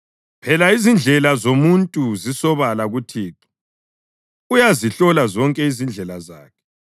Phela izindlela zomuntu zisobala kuThixo, uyazihlola zonke izindlela zakhe.